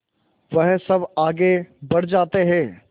वह सब आगे बढ़ जाते हैं